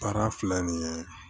Baara filɛ nin ye